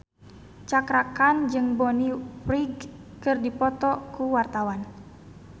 Cakra Khan jeung Bonnie Wright keur dipoto ku wartawan